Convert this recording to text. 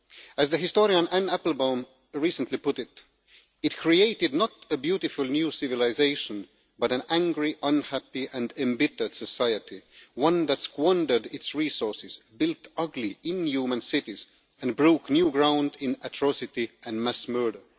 As the historian Anne Applebaum recently put it it created not a beautiful new civilisation but an angry, unhappy and embittered society, one that squandered its resources, built ugly, inhuman cities, and broke new ground in atrocity and mass murder'.